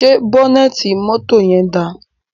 Ṣé bọ́nẹ́ẹ́tì mọ́tò yẹn dáa?